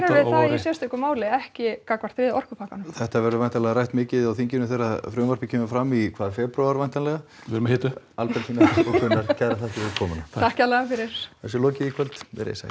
sérstöku máli ekki gagnvart þriðja orkupakkanum þetta verður væntanlega rætt mikið á þinginu þegar frumvarpið kemur fram í febrúar væntanlega við erum að hita upp Albertína og Gunnar kærar þakkir fyrir komuna takk kærlega þessu er lokið í kvöld verið þið sæl